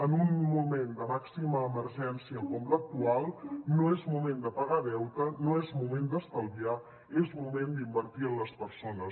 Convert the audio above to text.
en un moment de màxima emergència com l’actual no és moment de pagar deute no és moment d’estalviar és moment d’invertir en les persones